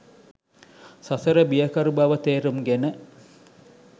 සසර බියකරු බව තේරුම්ගෙන